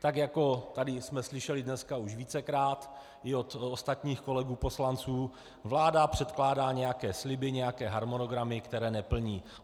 Tak jako tady jsme slyšeli dneska už vícekrát i od ostatních kolegů poslanců, vláda předkládá nějaké sliby, nějaké harmonogramy, které neplní.